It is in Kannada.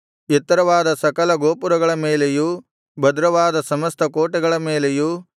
ಎತ್ತರವಾದ ಸಕಲ ಗೋಪುರಗಳ ಮೇಲೆಯೂ ಭದ್ರವಾದ ಸಮಸ್ತ ಕೋಟೆಗಳ ಮೇಲೆಯೂ